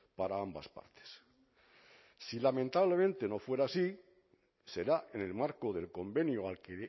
para ambas partes si lamentablemente no fuera así será en el marco del convenio al que